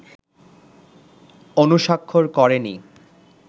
অনুস্বাক্ষর করেনি